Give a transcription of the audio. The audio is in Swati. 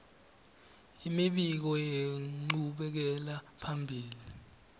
imibiko yenchubekela phambili